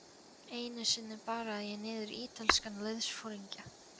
Einu sinni barði ég niður ítalskan liðsforingja.